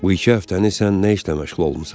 Bu iki həftəni sən nə işlə məşğul olmusan?